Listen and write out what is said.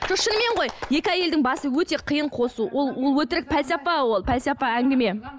жоқ шынымен ғой екі әйелдің басын өте қиын қосу ол ол өтірік пәлсапа ол пәлсапа әңгіме